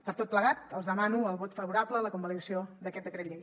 per tot plegat els demano el vot favorable a la convalidació d’aquest decret llei